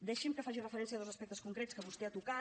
deixi’m que faci referència a dos aspectes concrets que vostè ha tocat